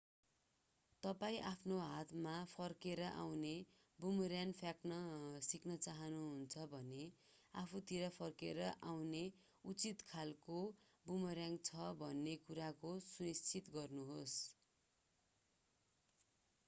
तपाईं आफ्नो हातमा फर्केर आउने बुमर्‍याङ फ्याँक्न सिक्न चाहनुहुन्छ भने आफूतिर फर्केर आउने उचित खालको बुमर्‍याङ छ भन्ने कुराको सुनिश्चित गर्नुहोस्।